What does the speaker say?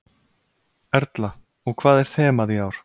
Erla: Og hvað er þemað í ár?